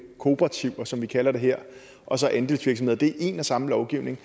kooperativer som vi kalder det her og så andelsvirksomheder det er en og samme lovgivning